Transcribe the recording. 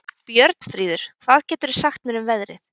Björnfríður, hvað geturðu sagt mér um veðrið?